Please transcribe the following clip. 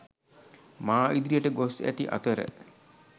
මා ඉදිරියට ගොස් ඇති අතර